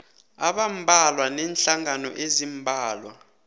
abambalwa neenhlangano eziimbalwa